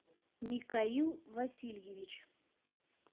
микаил васильевич